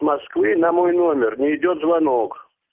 москвы на мой номер не идёт звонок